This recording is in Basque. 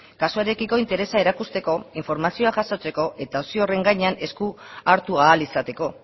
kasuarekiko interesa erakusteko informazioa jasotzeko eta opzio horren gainean esku hartu ahal izateko